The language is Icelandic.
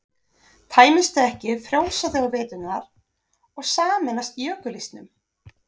tæmist þau ekki frjósa þau á veturna og sameinast jökulísnum